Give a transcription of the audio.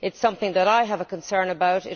It is something that I have a concern about.